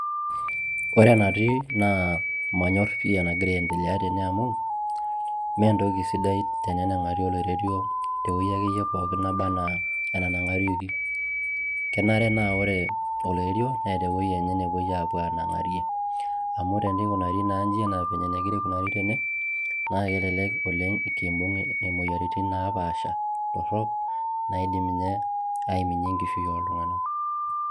Ore enatii naa manyorr pii enagira aiendelea tene amu, mee entoki sidai tenenang'ari oloiterio tewuoi akeyie pookin naba enaa enanang'arieki. Kenare naa ore oloiterio naa keeta ewueji enye napuoi aapuo aanang'arie amu tenenukari naa inji enaa vyenye negira aikunari tene naa kelelek oleng' kiimbung' imoyiaritin naapaasha torrok naidim inye aiminie enkishui ooltung'anak.